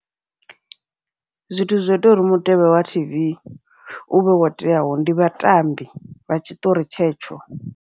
Zwithu zwo ita uri mutevhe wa tv uvhe wo teaho, ndi vhatambi vha tshiṱori tshetsho.